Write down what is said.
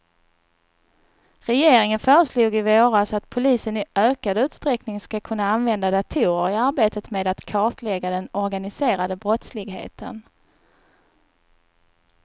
Regeringen föreslog i våras att polisen i ökad utsträckning ska kunna använda datorer i arbetet med att kartlägga den organiserade brottsligheten.